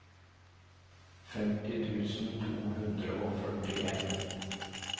femti tusen to hundre og førtien